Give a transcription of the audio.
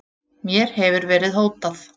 Mér hefur verið hótað